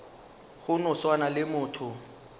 go no swana le motho